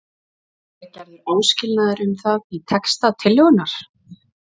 En er gerður áskilnaður um það í texta tillögunnar?